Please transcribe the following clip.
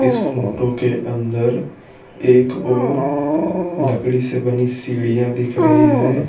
इस फोटो के अंदर एक ओर लकड़ी से बनी सीढ़ियां दिख रही है।